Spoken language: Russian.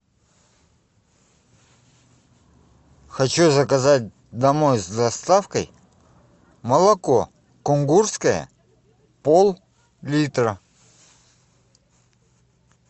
хочу заказать домой с доставкой молоко кунгурское поллитра